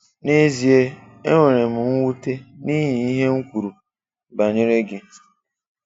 Nà ezíè, e nwèrè m ṅwuté n’ihi ihe m̀ kwùrù banyere gị.